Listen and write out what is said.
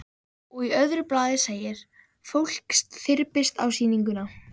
Og í öðru blaði segir: Fólk þyrpist á sýninguna.